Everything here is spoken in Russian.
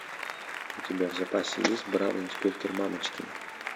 у тебя в запасе есть бравый инспектор мамочкин